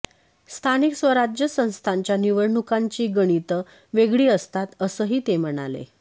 स्थानिक स्वराज्य संस्थांच्या निवडणुकांची गणितं वेगळी असतात असंही ते म्हणाले